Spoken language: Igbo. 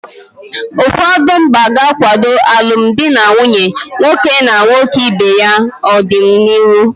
Ụfọdụ mba ga-akwado alụmdi na nwunye nwoke na nwoke ibe ya n'ọdịnihu.